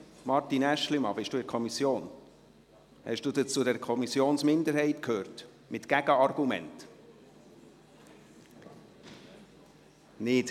Martin Aeschlimann, sind Sie in dieser Kommission und gehören Sie zu dieser Minderheit, mit Gegenargumenten?